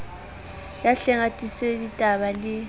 ya hleng a tiiseditaba le